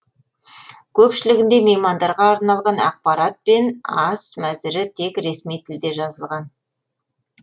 көпшілігінде меймандарға арналған ақпараттар мен ас мәзірі тек ресми тілде жазылған